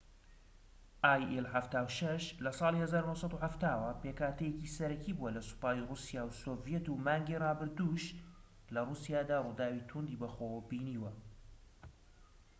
ئای ئیل 76 لە ساڵی 1970ەوە پێکهاتەیەکی سەرەکی بووە لە سوپای ڕووسیا و سۆڤیەت و مانگی ڕابردوودش لە ڕووسیادا ڕووداوی توندی بەخۆوە بینیوە